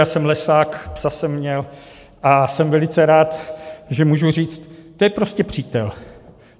Já jsem lesák, psa jsem měl a jsem velice rád, že můžu říct, to je prostě přítel.